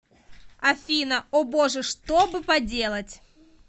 афина о боже что бы поделать